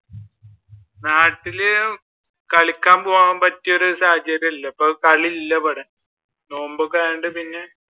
നാട്ടിൽ കളിക്കാൻ പോകാൻ പറ്റിയ ഒരു സാഹചര്യം അല്ല ഇപ്പോൾ ഇപ്പൊ കളി ഇല്ല ഇവിടെ നോമ്പൊക്കെ ആയോണ്ട് പിന്നെ